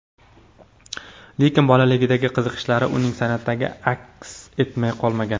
Lekin bolaligidagi qiziqishlari uning san’atida aks etmay qolmagan.